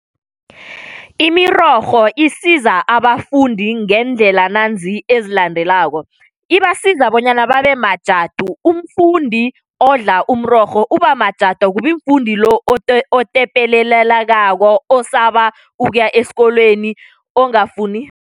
Imirorho isiza abafundi ngeendlela nanzi ezilandelako, ibasiza bonyana babe majadu, umfundi odla umrorho ubamajadu akubi mfundi lo otepelelelekako osaba ukuya esikolweni ongafuni